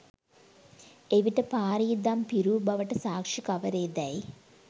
එවිට පාරී දම් පිරූ බවට සාක්ෂි කවරේදැයි